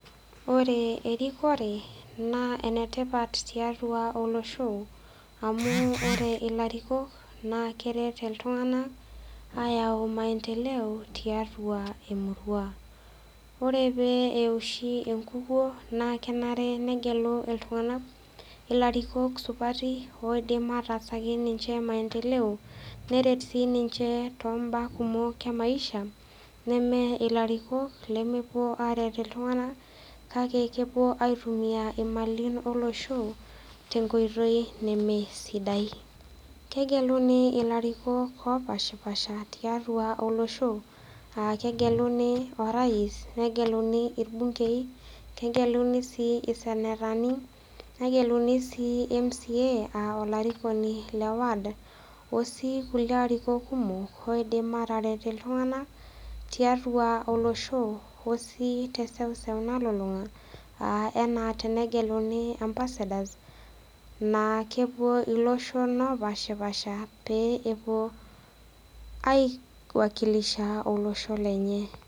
Ore erikore naa enetipat tiatua olosho amu ore ilarikok naa keret iltunganak ayau maendeleo tiatua emurua .Ore pee eoshi enkukuo naa kenare negelu iltunganak ilarikok supati oindim ayau maendelo neret sinche tombaa kumok emaisha neme ilarikok lemepuo aret iltunganak kake kepuo aitumia imali olosho tenkoitoi nemesidai . Kegeluni ilarikok opashapasha taiatua olosho aa kegeluni orais neguluni irbungei nemegelu sii isentani negeluni si mca aa olarikoni leward okulie ariko kumok oidim ataret iltunganak tiatua olosho osii teseuseu nalulunga aa enaa tenegeluni ambassadors naa kepuo iloshon opashapasha pee epuo aiwakilisha olosho lenye .